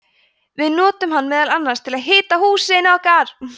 við notum hann meðal annars til að hita húsin okkar!